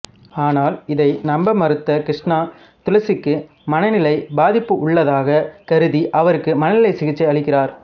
ஆனால் இதை நம்ப மறுத்த கிருஷ்ணா துளசிக்கு மனநிலை பாதிப்பு உள்ளதாக கருதி அவருக்கு மனநல சிகிச்சை அளிக்கிறார்